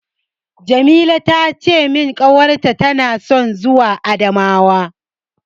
Jamila ta ce min ƙawarta tana son zuwa Adamawa.